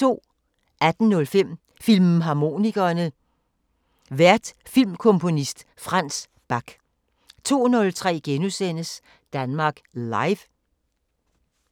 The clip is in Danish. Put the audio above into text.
18:05: Filmharmonikerne: Vært filmkomponist Frans Bak 02:03: Danmark Live *